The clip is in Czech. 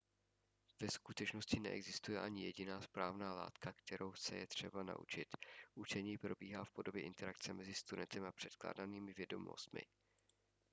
ve skutečnosti neexistuje ani jediná správná látka kterou se je třeba naučit učení probíhá v podobě interakce mezi studentem a předkládanými vědomostmi